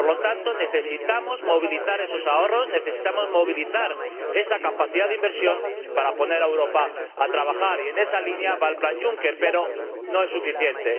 Por lo tanto, necesitamos movilizar esos ahorros, necesitamos movilizar esa capacidad de inversión para poner a Europa a trabajar y en esa línea va el plan Juncker, pero no es suficiente.